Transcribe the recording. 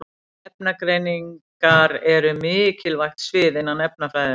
Efnagreiningar eru mikilvægt svið innan efnafræðinnar.